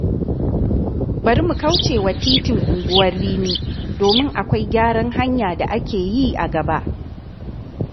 Bari mu kauce wa titin Unguwar Rimi, domin akwai gyaran hanya da ake yi a gaba.